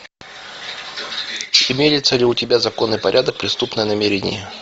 имеется ли у тебя закон и порядок преступные намерения